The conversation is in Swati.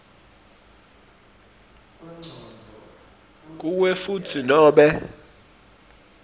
kuwe futsi nobe